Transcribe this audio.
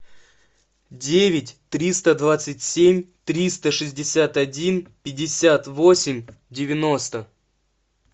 девять триста двадцать семь триста шестьдесят один пятьдесят восемь девяносто